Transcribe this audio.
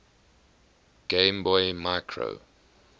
game boy micro